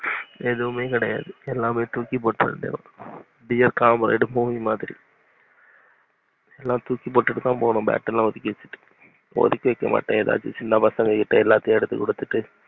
எதுவுமே கெடையாது. அப்புடியே தூக்கிபோட்டுரவேண்டியதான் dearcomrademovie மாதிரி அதெலாம் தூக்கி போட்டுட்டுதான் போனும் bat மாதிரி ஒதிக்கி வைக்க மாட்டேன். எதாச்சும் சின்ன பசங்க கிட்ட எல்லாத்தையும் எடுத்து குடுத்துருவேன்.